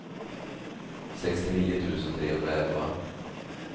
sextionio tusen trehundraelva